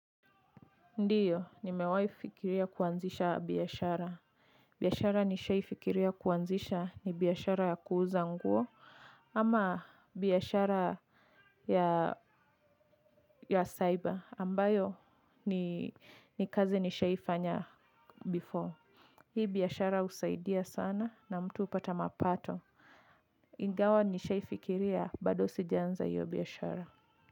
Ndio, nimewahifikiria kuanzisha biashara. Biashara nishaifikiria kuanzisha ni biashara ya kuuza nguo ama biashara ya ya cyber ambayo ni kazi nishaifanya before. Hii biashara husaidia sana na mtu hupata mapato. Ingawa nishaifikiria bado sijaanza hio biashara.